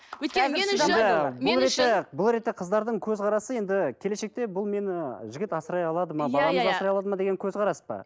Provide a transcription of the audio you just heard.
өйткені меніңше бұл ретте қыздардың көзқарасы енді келешекте бұл мені жігіт асырай алады ма баламды асырай алады ма деген көзқарас па